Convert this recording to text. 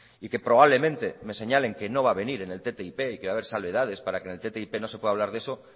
y que probablemente me señalen que no va a venir en el ttip y que va a haber salvedades para que en ttip no se pueda hablar de eso